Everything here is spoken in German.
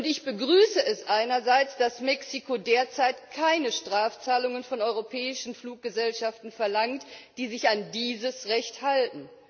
Ich begrüße es einerseits, dass Mexiko derzeit keine Strafzahlungen von europäischen Fluggesellschaften verlangt, die sich an dieses Recht halten.